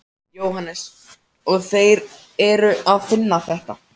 Jóhannes: Og þeir eru að finna þetta?